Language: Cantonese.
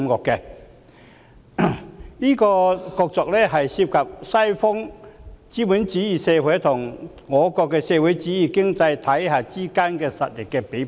這場角逐涉及西方資本主義社會與我國的社會主義經濟體系之間的實力比拼。